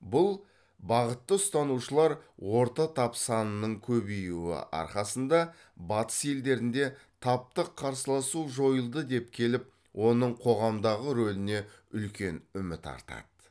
бұл бағытты ұстанушылар орта тап санының көбеюі арқасында батыс елдерінде таптық қарсыласу жойылды деп келіп оның қоғамдағы рөліне үлкен үміт артады